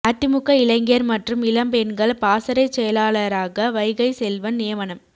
அதிமுக இளைஞர் மற்றும் இளம் பெண்கள் பாசறைச் செயலாளராக வைகைசெல்வன் நியமனம்